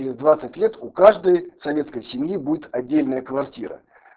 и в двадцать лет у каждой советской семьи будет отдельная квартира